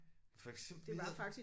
For eksempel det hed